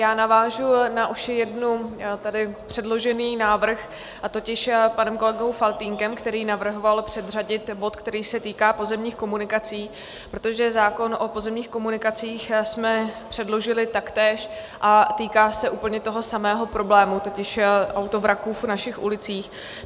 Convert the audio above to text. Já navážu na už jednou tady předložený návrh, a to panem kolegou Faltýnkem, který navrhoval předřadit bod, který se týká pozemních komunikací, protože zákon o pozemních komunikacích jsme předložili taktéž a týká se úplně toho samého problému, totiž autovraků v našich ulicích.